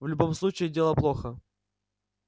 в любом случае дело плохо